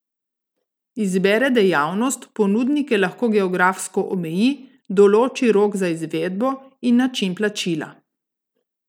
Izbere dejavnost, ponudnike lahko geografsko omeji, določi rok za izvedbo in način plačila.